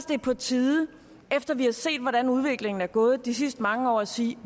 det er på tide efter at vi har set hvordan udviklingen er gået de sidste mange år at sige